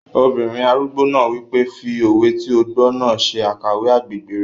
Obìnrin arúgbó náà wípé, "fi òwe tí o gbọ́ náà ṣe àkàwé agbègbè rẹ̀